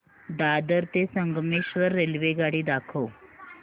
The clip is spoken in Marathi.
दादर ते संगमेश्वर रेल्वेगाडी दाखव